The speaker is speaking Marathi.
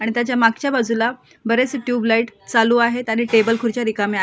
आणि त्याच्या मागच्या बाजूला बरेचसे ट्यूब लाइट चालू आहेत आणि टेबल खुर्च्या रिकाम्या आहेत.